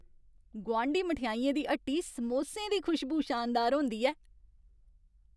गुआंढी मठैइयें दी हट्टी समोसें दी खुशबू शानदार होंदी ऐ।